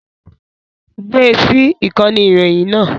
Gbé e sí ìkànnì ìròyìn náà